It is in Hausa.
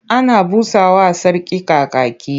Ana busa wa Sarki Kakaki.